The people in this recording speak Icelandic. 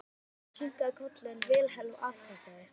Björn kinkaði kolli en Vilhelm afþakkaði.